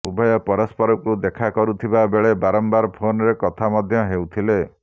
ଉଭୟ ପରସ୍ପରକୁ ଦେଖା କରୁଥିବା ବେଳେ ବାରମ୍ବାର ଫୋନରେ କଥା ମଧ୍ୟ ହେଉଥିଲେ